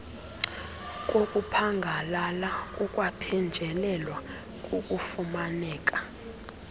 kokuphangalala kukwaphenjelelwa kukufumaneka